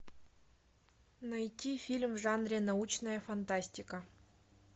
найти фильм в жанре научная фантастика